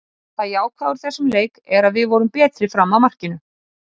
Það jákvæða úr þessum leik er að við vorum betri fram að markinu.